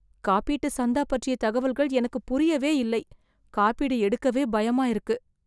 காப்பீட்டு சந்தா பற்றிய தகவல்கள் எனக்கு புரியவே இல்லை. காப்பீடு எடுக்கவே பயமா இருக்கு.